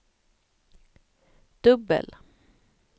dubbel